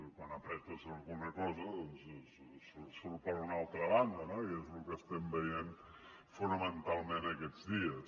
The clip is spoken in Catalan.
quan apretes alguna cosa doncs surt per una altra banda no i és lo que estem veient fonamentalment aquests dies